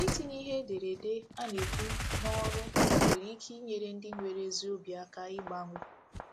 Itinye ihe ederede a na-ekwu n’ọrụ nwere ike inyere ndị nwere ezi obi aka ịgbanwe